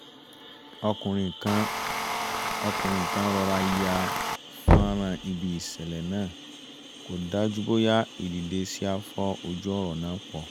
ọkùnrin kan rọra ya fọ́nrán ibi ìṣẹ̀lẹ̀ náà kó dájú bóyá ìdìdesí á fọ́ ojú ọ̀rọ̀ náà pọ̀